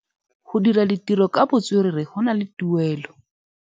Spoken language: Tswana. Go dira ditirô ka botswerere go na le tuelô.